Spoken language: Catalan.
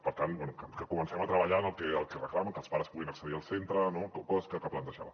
per tant bé que comencem a treballar en el que reclamen que els pares puguin accedir al centre no coses que plantejava